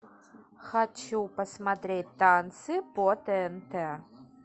хочу посмотреть танцы по тнт